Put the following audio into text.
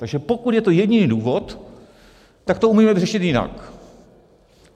Takže pokud je to jediný důvod, tak to umíme vyřešit jinak.